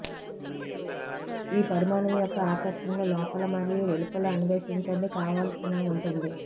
ఈ పరిమాణం యొక్క ఆకర్షణలు లోపల మరియు వెలుపల అన్వేషించండి కావాల్సిన ఉంటుంది